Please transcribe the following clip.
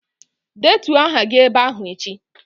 Detuo aha gị ebe ahụ echi!